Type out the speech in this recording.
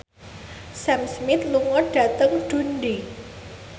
Sam Smith lunga dhateng Dundee